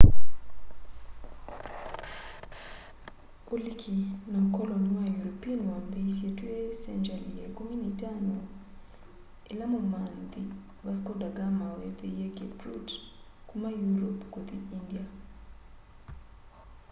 uliki na ukoloni wa european wambiisye twi sengyali ya ikumu na itano ila mumanthi vasco da gama wethiie cape route kuma europe kuthi india